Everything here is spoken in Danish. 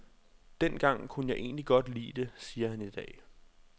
Dengang kunne jeg egentlig godt lide det, siger han idag.